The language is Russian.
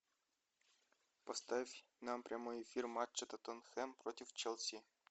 поставь нам прямой эфир матча тоттенхэм против челси